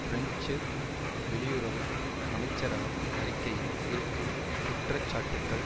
French வெளியுறவு அமைச்சரகம் அறிக்கையில் இருக்கும் குற்ற சாட்டுக்கள்